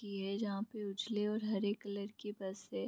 की है जहाँ पे उजले और हरे कलर की बस है ।